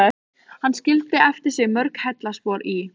Hann skildi eftir sig mörg heillaspor í